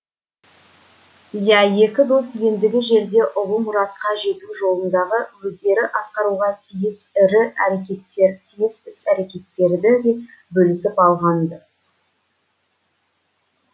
иә екі дос ендігі жерде ұлы мұратқа жету жолындағы өздері атқаруға тиіс тиіс іс әрекеттерді де бөлісіп алған ды